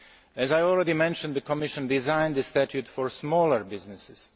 As I have already mentioned, the Commission designed a statute for smaller businesses.